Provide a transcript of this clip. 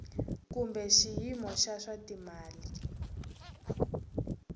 kumbe xiyimo xa swa timali